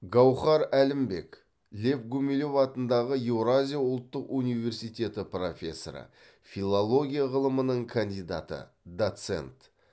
гауһар әлімбек гумилев атындағы еуразия ұлттық университеті профессоры филология ғылымының кандидаты доцент